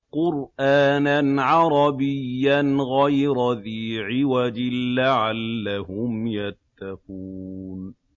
قُرْآنًا عَرَبِيًّا غَيْرَ ذِي عِوَجٍ لَّعَلَّهُمْ يَتَّقُونَ